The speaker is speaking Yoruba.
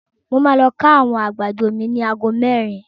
Mo ma lọ ká àwọn àgbàdo mi ni ago merin.